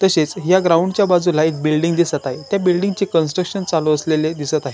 तसेच या ग्राऊंडच्या बाजुला एक बिल्डींग दिसत आहे त्या बिल्डिंगची कंट्रकशन चालु असलेले दिसत आहे.